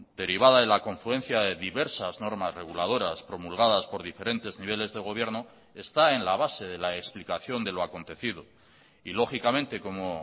derivada de la confluencia de diversas normas reguladoras promulgadas por diferentes niveles de gobierno está en la base de la explicación de lo acontecido y lógicamente como